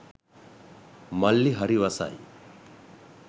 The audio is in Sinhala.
මල්ලි හරි වසයි.